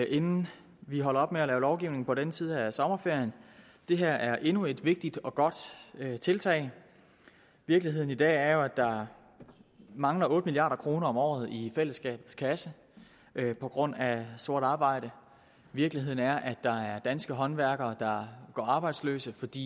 inden vi holder op med at lave lovgivning på den her side af sommerferien det her er endnu et vigtigt og godt tiltag virkeligheden i dag er jo at der mangler otte milliard kroner om året i fællesskabets kasse på grund af sort arbejde virkeligheden er at der er danske håndværkere der går arbejdsløse fordi